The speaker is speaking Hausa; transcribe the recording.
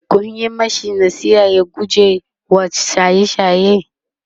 Kun Yi mashi nasiha ya gujewa shaye shaye?